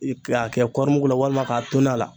K'a kɛ kɔɔri mugu la walima k'a toni a la